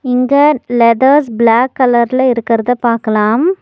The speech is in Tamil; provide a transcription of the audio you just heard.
இங்க லெதர்ஸ் பிளாக் கலர்ல இருக்குறத பாக்கலாம்.